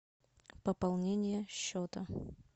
пополнение счета